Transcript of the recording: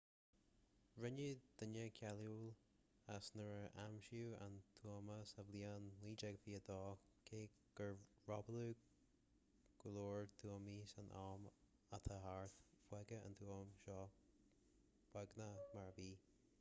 rinneadh duine cáiliúil as nuair a aimsíodh an tuama sa bhliain 1922 cé gur robáladh go leor tuamaí san am atá thart fágadh an tuama seo beagnach mar a bhí